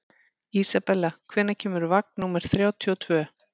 Isabella, hvenær kemur vagn númer þrjátíu og tvö?